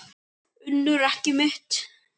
UNNUR: Ekki mitt.